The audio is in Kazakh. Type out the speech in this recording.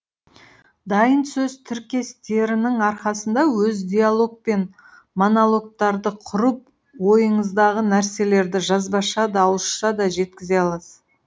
дайын сөз тіркестерінің арқасында өз диалог пен монологтарды құрып ойыңыздағы нәрселерді жазбаша да ауызша да жеткізе аласыз